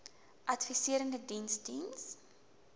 adviserende diens diens